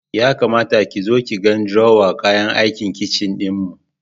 Ya kamata ki zo ki ga drawer kayan aikin kicin ɗinmu.